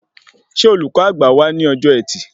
Ṣé olùkọ́ àgbà wá ní ọjọ ẹtì?